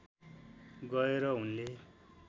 गएर उनले